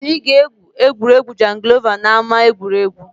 Anyị ga-egwu egwuregwu jangilova n’ama egwuregwu